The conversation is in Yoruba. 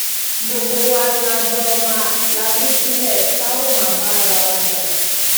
gbogbo wa la jọ máa lajú sílé tá a ó máa bá ara wa jà